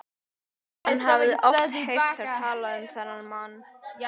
Hann hafði oft heyrt þær tala um þennan mann.